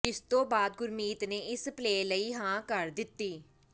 ਜਿਸਤੋਂ ਬਾਅਦ ਗੁਰਮੀਤ ਨੇ ਇਸ ਪਲੇਅ ਲਈ ਹਾਂ ਕਰ ਦਿੱਤੀ